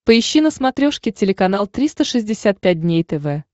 поищи на смотрешке телеканал триста шестьдесят пять дней тв